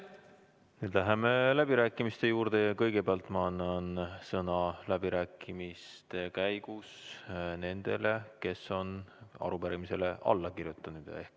Nüüd läheme läbirääkimiste juurde ja kõigepealt ma annan sõna nendele, kes on arupärimisele alla kirjutanud.